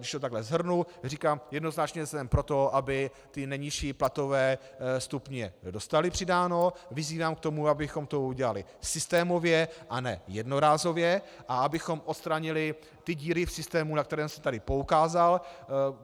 Když to takhle shrnu, říkám, jednoznačně jsem pro to, aby ty nejnižší platové stupně dostaly přidáno, vyzývám k tomu, abychom to udělali systémově a ne jednorázově a abychom odstranili ty díry v systému, na které jsem tady poukázal.